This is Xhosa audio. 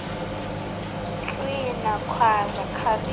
tswina khwaza khalisa